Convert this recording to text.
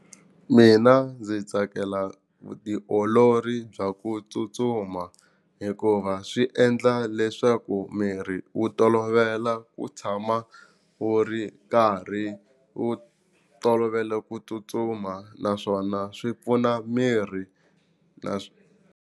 Mina ndzi tsakela vutiolori bya ku tsutsuma hikuva swi endla leswaku miri wu tolovela ku tshama wu ri karhi wu tolovele ku tsutsuma naswona swi pfuna miri na .